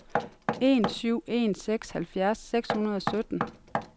en syv en seks halvfjerds seks hundrede og sytten